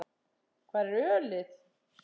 Hvar er ölið?